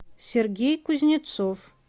сергей кузнецов